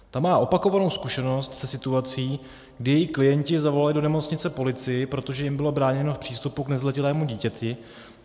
Ta má opakovanou zkušenost se situací, kdy její klienti zavolali do nemocnice policii, protože jim bylo bráněno v přístupu k nezletilému dítěti.